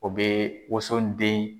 O bɛ woson den